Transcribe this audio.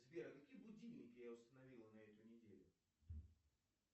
сбер какие будильники я установил на эту неделю